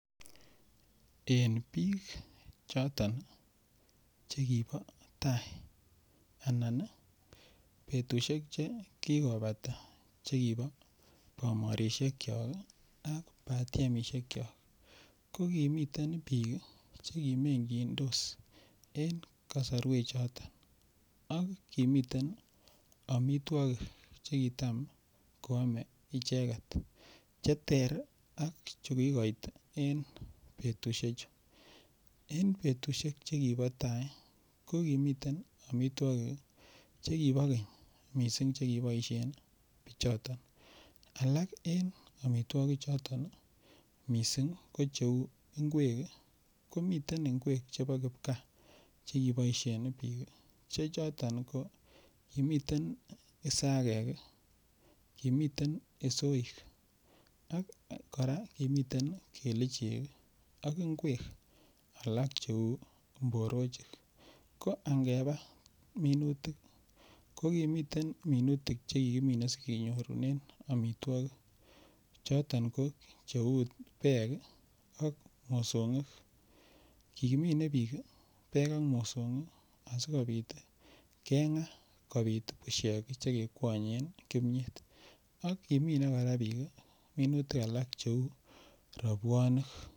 En biik Choton chekibo tai anan ii betusiek che kikobata chekibo bomorishekyok ii ak batiemishekyok ko kimiten biik che kimegyindos en kosorwek choton ak kimiten omitwokik che kitam koome icheget che ter chu kigoit en betushechu. En betusiek chu kibo tai ko kimiten omitwokik che kiboo keny missing che kiboishen bichoton, alak en omitwokik choton ii missing ko cheuu ngwek ii komiten ngwek chebo kipkaa che kiboishen biik che choton ko kimiten sagek ii kimiten isoik ak koraa kimiten kelichek ak ngwek alak che uu mborochik ko angebaa minutik ko kimiten minutik che kikimine sigenyorunen omitwokik choton ko che uu beek ak mosongik. Kimine biik beek ak mosongik asikopit ii kemgaa kopit bushek che kekwonyen kimyet ak kimine koraa biik minutik alak che uu robwonik